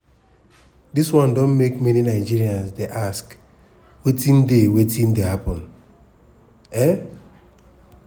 dis one don make many nigerians dey ask wetin dey wetin dey happun. um